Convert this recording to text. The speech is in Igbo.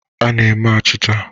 A na-eme achịcha.